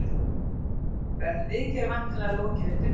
Verður viðgerð væntanlega lokið undir kvöld